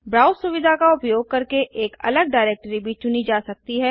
browse सुविधा का उपयोग करके एक अलग डाइरेक्टरी भी चुनी जा सकती है